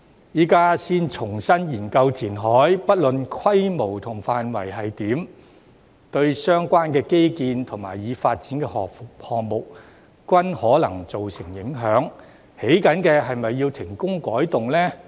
現在才重新研究填海，不論規模和範圍為何，對相關基建及已發展項目均可能造成影響，正在興建的是否要停工改動呢？